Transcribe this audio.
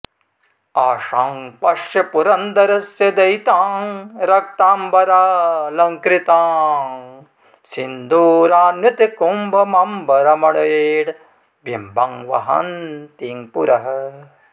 आशां पश्य पुरन्दरस्य दयितां रक्ताम्बरालङ्कृतां सिन्दूरान्वितकुम्भमम्बरमणेर्बिम्बं वहन्तीं पुरः